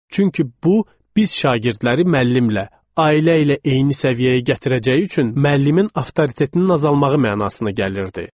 Çünki bu, biz şagirdləri müəllimlə, ailə ilə eyni səviyyəyə gətirəcəyi üçün müəllimin avtoritetinin azalmağı mənasına gəlirdi.